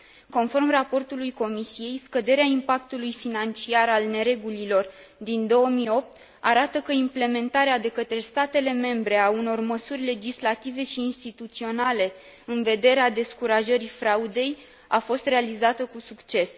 Conform raportului Comisiei, scăderea impactului financiar al neregulilor din 2008 arată că implementarea de către statele membre a unor măsuri legislative și instituționale, în vederea descurajării fraudei, a fost realizată cu succes.